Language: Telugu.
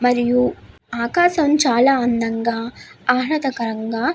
మరియు ఆకాశం చాలా అందంగా ఆహ్లాదకరంగా --